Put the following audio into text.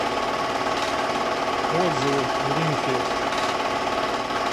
отзывы глинфилд